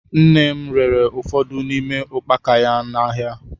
Nne m rere ụfọdụ n'ime ukpaka ya n'ahịa.